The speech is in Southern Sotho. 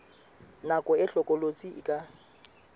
nako e hlokolosi e ka